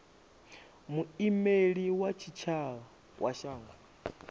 muimeli wa tshitshavha wa shango